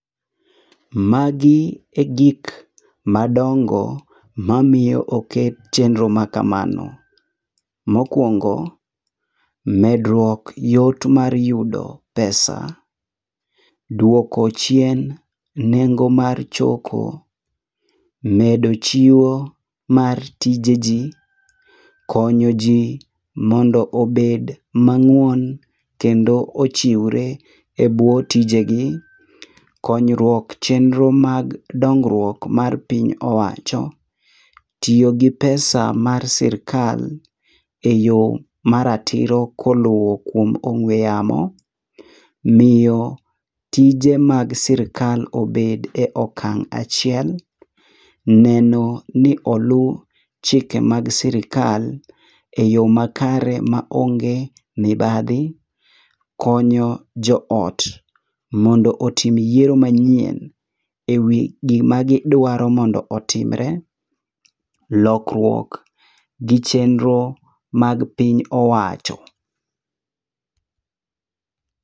Magi egik madongo mamiyo oket chenro ma kamano. Mokuongo, medruok yot mar yudo pesa. Duoko chien nego mar choko. Medo chiwo mar tije ji. Konyo ji mondo obed mang'won kendo ochiwre ebwo tije gi. Konyruok e chenro mag dongruok mar piny owacho. Tiyo gi pesa mar sirkal eyo maratiro koluwo kuom ong'ue yamo. Miyo tije mag sirkal obed e okang' achiel. Neno ni olu chike mag sirkal eyo makare maonge mibadhi. Konyo jood mondo otim yiero manyien ewi gima gidwaro mondo otimre. Lokruok gi chenro mag piny owacho.